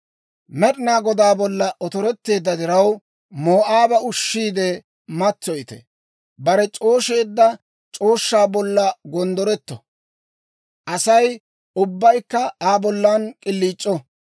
«Med'inaa Godaa bollan otoretteedda diraw, Moo'aaba ushshiide matsoyite. Bare c'oosheedda c'ooshshaa bollan gonddoretto; Asay ubbaykka Aa bollan k'iliic'o.